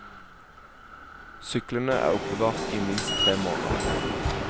Syklene er oppbevart i minst tre måneder.